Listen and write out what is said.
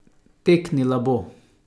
Teknila bo!